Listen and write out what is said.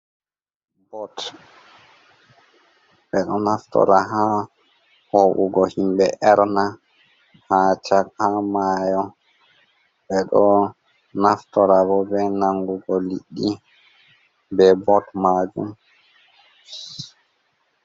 Boot ɓe ɗo naftora haa hoo'ugo himɓe erna, haa caka maayo, ɓe ɗo naftora bo be nangugo liɗɗi, be boot maajum.